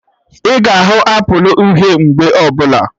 Ị ga ahụ Apụl uhie mgbe ọbụla